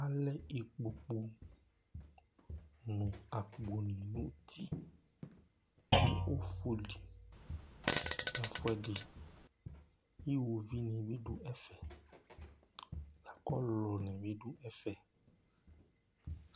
Alɛ ikpoku nʋ akpo ni nʋ ʋti nʋ ɔfuli nʋ ɛfʋɛdi Iwoviʋ ni bi du ɛfɛ lakʋ ɔlʋlu ni bi du ɛfɛ